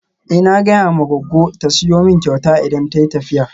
Eh na gaya ma goggo ta siyo min kyauta idan tayi tafiya.